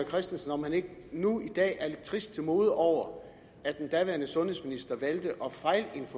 christensen om han ikke nu i dag er lidt trist til mode over at den daværende sundhedsminister valgte